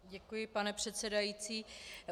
Děkuji, pane předsedající.